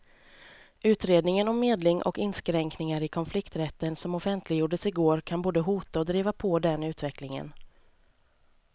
Utredningen om medling och inskränkningar i konflikträtten som offentliggjordes i går kan både hota och driva på den utvecklingen.